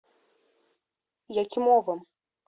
якимовым